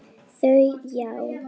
Hét hún Skrækja Skyr?